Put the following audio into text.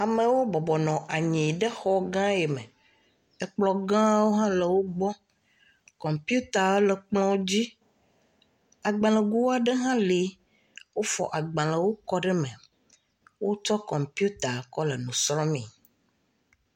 Amewo bɔbɔ nɔ anyi ɖe xɔ gãã yi me. Ekplɔ̃ gãwo hã le wogbɔ. Kɔmpiutaa le kplɔ̃dzi. agbalẽgoaɖe hã li, wofɔ agbalẽwo kɔ ɖe me. wotsɔ kɔmpiuta kɔ le nu srɔ̃mee.